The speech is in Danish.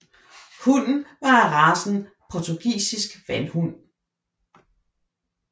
Hunden var af racen portugisisk vandhund